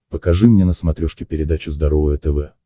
покажи мне на смотрешке передачу здоровое тв